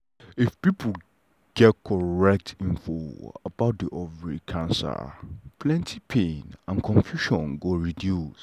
if pipo get correct info about the ovary cancer plenty pain and confusion go reduce.